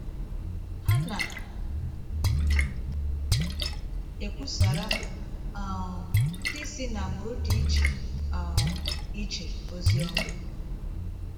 Ha na - ekwusara um ndị si n’agbụrụ dị iche um iche ozi ọma.